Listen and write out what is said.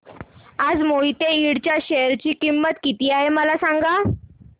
आज मोहिते इंड च्या शेअर ची किंमत किती आहे मला सांगा